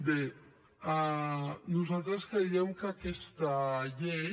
bé nosaltres creiem que aquesta llei